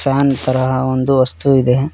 Fan ತರದ ಒಂದು ವಸ್ತು ಇದೆ.